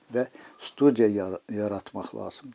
Və studiya yaratmaq lazımdır.